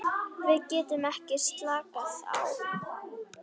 Við getum ekki slakað á.